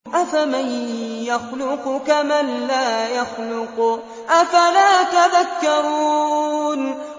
أَفَمَن يَخْلُقُ كَمَن لَّا يَخْلُقُ ۗ أَفَلَا تَذَكَّرُونَ